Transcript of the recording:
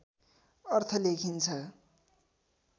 अर्थ लेखिन्छ